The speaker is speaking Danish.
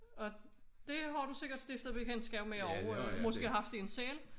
Og det har du sikkert stiftet bekendtskab med og måske haft én selv